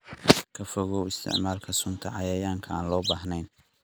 Ka fogow isticmaalka sunta cayayaanka aan loo baahnayn.